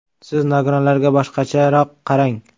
Siz nogironlarga boshqacharoq qarang.